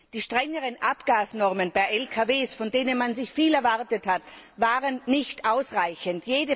Die strengeren Abgasnormen für Lkws, von denen man sich viel erwartet hatte, waren nicht ausreichend.